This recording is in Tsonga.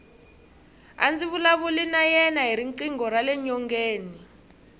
a ndzi vulavula na yena hi riqingho rale nyongeni